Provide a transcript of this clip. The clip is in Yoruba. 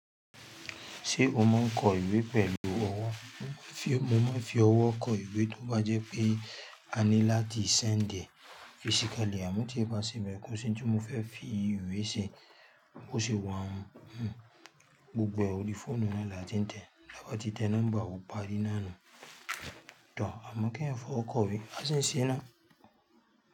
Ṣé o máa ń kọ ìwé pẹ̀lú ọwọ́? Mo máa fi, mo máa fi ọwọ́ kọ ìwé tó bá jẹ́ pé a ní láti sendi ẹ̀ Physically, àmọ́ tí ẹ bá sẹ̀nbẹ̀, kò sí ohun tí mo fẹ́ fi ìwé ṣe, bó ṣe wà hun. Hhm, gbogbo orí fóònù náà là tí n tẹ̀ẹ́. Ẹ bá ti tẹ nọ́mbà, ó parí nánu. Tọ, àmọ́ kí èèyàn fọwọ́ kọ ìwé. A sì ń ṣe náà.